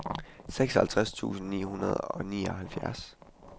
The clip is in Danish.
seksoghalvtreds tusind ni hundrede og nioghalvfjerds